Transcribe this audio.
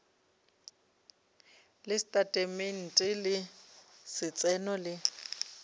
le setatamente sa letseno le